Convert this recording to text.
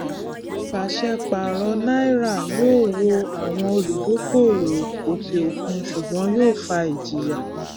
pàṣẹ paro náírà yóò wò àwọn olúdókòwò òkè òkun ṣùgbọn yóò fa ìjìyà